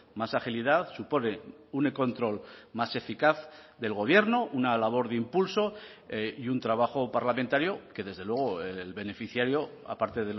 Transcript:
más agilidad supone un control más eficaz del gobierno una labor de impulso y un trabajo parlamentario que desde luego el beneficiario aparte